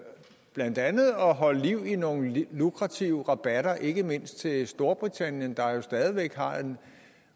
blandt andet at holde liv i nogle lukrative rabatter ikke mindst til storbritannien der jo stadig væk har en